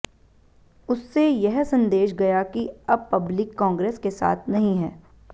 उससे यह संदेश गया कि अब पब्लिक कांग्रेस के साथ नहीं है